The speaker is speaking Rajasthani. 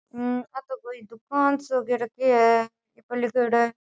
मम्म्म आ तो कोई दूकान सो रखी है ये पे लिखोड़ा है।